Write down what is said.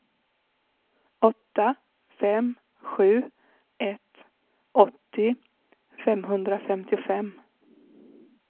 åtta fem sju ett åttio femhundrafemtiofem